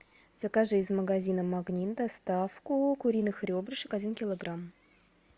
закажи из магазина магнит доставку куриных ребрышек один килограмм